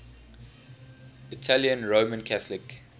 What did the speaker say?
italian roman catholic